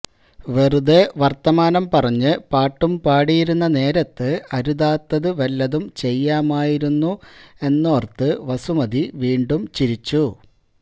വെറുതെ വര്ത്തമാനം പറഞ്ഞ് പാട്ടും പാടിയിരുന്ന നേരത്ത് അരുതാത്തത് വല്ലതും ചെയ്യാമായിരുന്നു എന്നോര്ത്ത് വസുമതി വീണ്ടും ചിരിച്ചു